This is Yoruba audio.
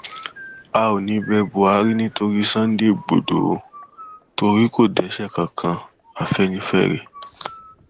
a ò ní í bẹ buhari nítorí sunday igbodò ò torí kó dẹṣẹ kankan afẹnifẹre